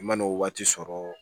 I mana o waati sɔrɔ